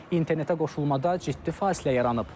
internetə qoşulmada ciddi fasilə yaranıb.